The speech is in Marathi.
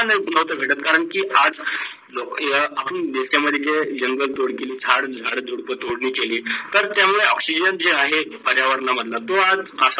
का नव्हता भेटत होता? करण की आज लोक्य आपण दर्शन मध्ये जे जंगल तोड केले, झाड - झुडपे तोडले गेले तर त्या मुडे oxygen जे आहे पर्यावरण मंडळ तो आज